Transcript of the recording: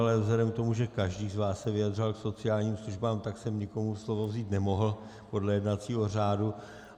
Ale vzhledem k tomu, že každý z vás se vyjadřoval k sociálním službám, tak jsem nikomu slovo vzít nemohl podle jednacího řádu.